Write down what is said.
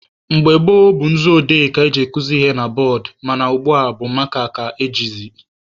Mgbe gboo bụ nzu odee ka eji akuzi ihe na bọọdụ mana ugbua bụ maaka ka a na-ejizi..